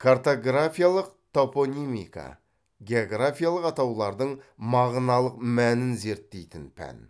картографиялық топонимика географиялық атаулардың мағыналық мәнін зерттейтін пән